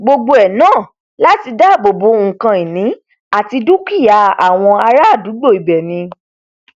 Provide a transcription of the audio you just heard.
gbogbo ẹ náà láti dáàbò bo nkan ìní àti dúkìá àwọn ará àdúgbò ibẹ ni